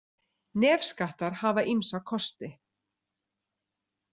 Nefskattar hafa ýmsa kosti.